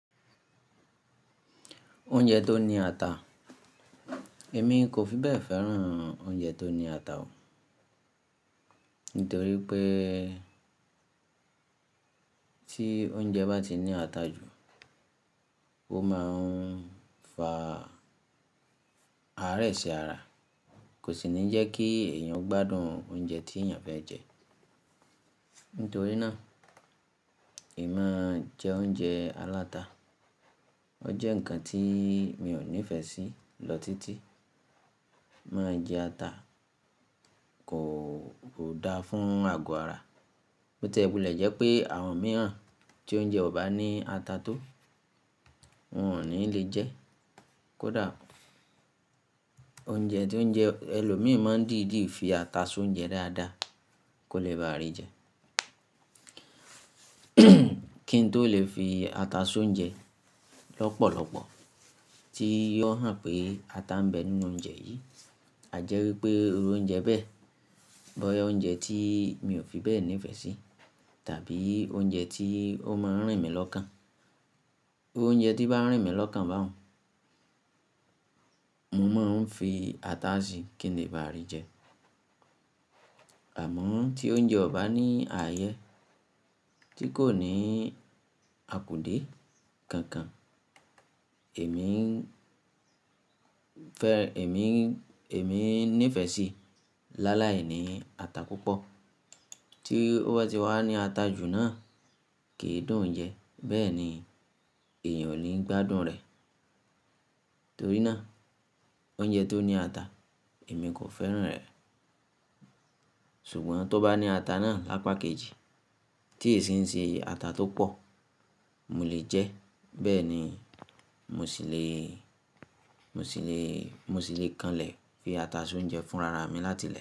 Oúnjẹ tó ní ata. Èmi kò fi bẹ́ẹ̀ fẹ́ràn oúnjẹ tó ní ata o. Nítorí pé tí oúnjẹ bá ti ní ata jù, ó máa ń fa àárẹ̀ sí ara, kò sì ní jẹ́ kí èèyàn gbádùn oúnjẹ tí èèyàn fẹ́ jẹ. Nítorí náà, èmi máa ń jẹ oúnjẹ aláta. Ó jẹ́ ǹkan tí mi ò nífẹ̀ẹ́ sí lọ títí. Máa jẹ ata kò dáa fún àgọ́ ara. Bó tilẹ̀ jẹ́ pé àwọn mìíràn tí oúnjẹ ọ̀ bá ní ata tó, wọ́n ò ní lè jẹ́. Kódà oúnjẹ, oúnjẹ ẹlòmíràn dìdí fi ata so oúnjẹ dáadáa kò lè bàrí jẹ. Kí n tó lè fi ata so oúnjẹ lọ́pọ̀lọpọ̀ tí yóò hàn pé ata ń bẹ nínú oúnjẹ yìí. A jẹ́ wípé oúnjẹ bẹ́ẹ̀, bọ́yá oúnjẹ tí mi ò fi bẹ́ẹ̀ nífẹ̀ẹ́ sí tàbí oúnjẹ tí ó máa ń rìn mí lọ́kàn. Oúnjẹ tí bá ń rìn mí lọ́kàn bá òun, mo máa ń fi ata si kí n lè bàrí jẹ. Àmọ́ tí oúnjẹ ọ̀ba ní ààyè tí kò ní akùdé kankan, èmi ń fẹ́, èmi ń, èmi ń nífẹ̀ẹ́ sí lálàí ní ata púpọ̀. Tí ó bá ti wà ní ata jù náà, kì í dùn jẹ. Bẹ́ẹ̀ ni èèyàn ò ní gbádùn rẹ̀. Torí náà oúnjẹ tó ní ata èmi kò fẹ́ràn rẹ̀. Ṣùgbọ́n tó bá ní ata náà lápá kejì, tí èéṣin ṣe ata tó pọ̀, mo lè jẹ. Bẹ́ẹ̀ ni mo sì le, mo sì le, mo sì le kànlẹ̀ fi ata so oúnjẹ fún rara mi láti lẹ̀